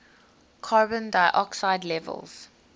carbon dioxide levels